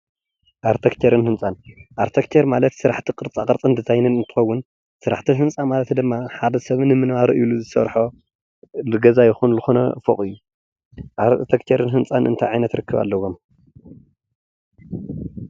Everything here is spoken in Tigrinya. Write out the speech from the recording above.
ኣርቴክቸርን ህንፃን፡- ኣርቴክቸር ማለት ስራሕቲ ቅርፃ ቅርፂን ድዛይንን እንትከውን ስራሕቲ ህንፃ ማለት ድማ ሓደ ሰብ ንምንባሩ ኢሉ ዝሰርሖ ንገዛ ይኩን ዝኮነ ፎቅ እዩ፡፡ ኣርቴክቸርን ህንፃን እንታይ ዓይነት ርክብ ኣለዎም?